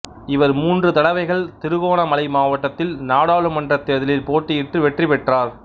இவர் மூன்று தடவைகள் திருகோணமலை மாவட்டத்தில் நாடாளுமன்றத் தேர்தலில் போட்டியிட்டு வெற்றி பெற்றார்